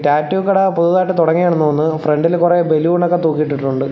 Tattoo കട പുതിയതായിട്ട് തുടങ്ങിയതാണെന്ന് തോന്നുന്നു ഫ്രണ്ടിൽ കുറെ ബലൂൺ ഒക്കെ തൂക്കി ഇട്ടിട്ടുണ്ട്.